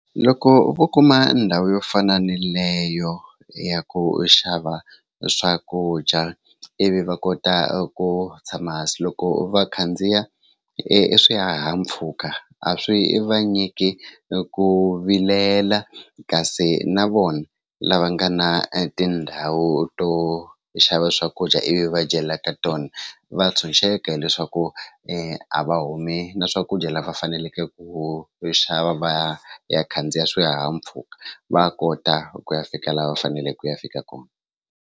Loko vo kuma ndhawu yo fana ni leyo ya ku xava swakudya ivi va kota ku tshama hansi loko va khandziya i swihahampfhuka a swi va nyiki ku vilela kasi na vona lava nga na tindhawu to xava swakudya ivi va dyela ka tona va tshunxeka hileswaku a va humi na swakudya lava faneleke ku xava va ya khandziya swihahampfhuka va kota ku ya fika laha va faneleke ku ya fika kona.